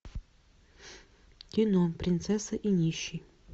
кино принцесса и нищий